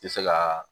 Tɛ se ka